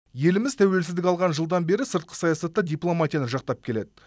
еліміз тәуелсіздік алған жылдан бері сыртқы саясатта дипломатияны жақтап келеді